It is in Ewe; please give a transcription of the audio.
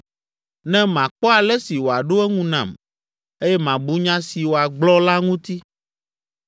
Ne makpɔ ale si wòaɖo eŋu nam eye mabu nya si wòagblɔ la ŋuti.